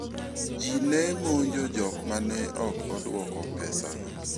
Ji ne monjo jok ma ne ok odwoko pesago.